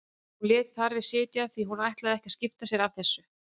Hún lét þar við sitja því hún ætlaði ekki að skipta sér af þessu.